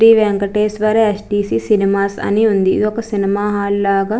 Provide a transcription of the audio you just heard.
Shri Venkateshwara STC. Cinemas అని ఉంది ఇదొక సినిమా హాల్ లాగా --